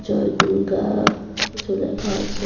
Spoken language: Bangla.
জয় দুর্গা কিছু লেখা আছে।